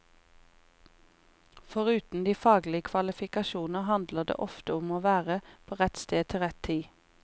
Foruten de faglige kvalifikasjoner handler det ofte om å være på rett sted til rett tid.